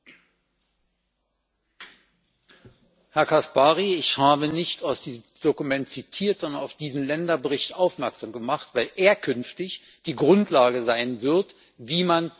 Herr Caspary! Ich habe nicht aus diesem Dokument zitiert, sondern auf diesen Länderbericht aufmerksam gemacht, weil er künftig die Grundlage dafür sein wird, wie man mit Dumping, möglichen Dumpingverfahren umgehen muss.